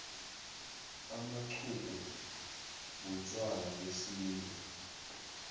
amaxhugu butjwala besintu